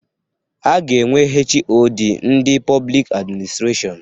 A ga-enwe HoD ndị Pọblik Administrashọn.